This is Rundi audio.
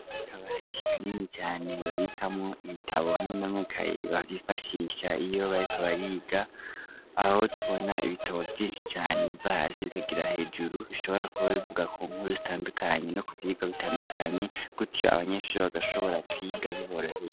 Akabati kanini cane babikamwo ibitabo hamwe n'amakaye bifashisha iyo bariko bariga aho tubona ibitabo vyinshi cane biva hasi bikagera hejuru bishobora kuba bivuga ku nkuru zitandukanye no ku vyigwa bitandukanye gutyo abanyeshure bagashobora kwiga biboroheye.